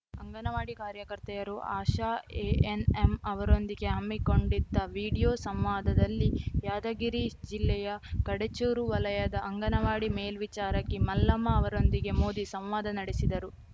ಅಂಗನವಾಡಿ ಕಾರ್ಯಕರ್ತೆಯರು ಆಶಾ ಎಎನ್‌ಎಂ ಅವರೊಂದಿಗೆ ಹಮ್ಮಿಕೊಂಡಿದ್ದ ವಿಡಿಯೋ ಸಂವಾದದಲ್ಲಿ ಯಾದಗಿರಿ ಜಿಲ್ಲೆಯ ಕಡೆಚೂರು ವಲಯದ ಅಂಗನವಾಡಿ ಮೇಲ್ವಿಚಾರಕಿ ಮಲ್ಲಮ್ಮ ಅವರೊಂದಿಗೆ ಮೋದಿ ಸಂವಾದ ನಡೆಸಿದರು